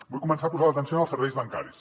vull començar posant l’atenció en els serveis bancaris